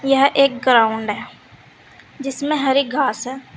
यह एक ग्राउंड है जिसमें हरी घास है।